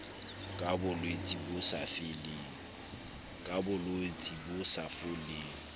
ka bolwetse bo sa foleng